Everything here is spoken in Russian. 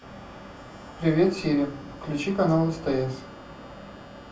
привет сири включи канал стс